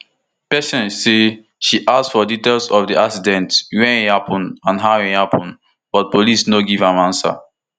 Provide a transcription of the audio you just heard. patience say she ask for details of di accident wia e happun and how e happun but police no give am answer